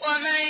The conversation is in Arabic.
وَمَن